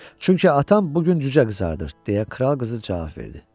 Çünki atam bu gün cücə qızardır deyə kral qızı cavab verdi.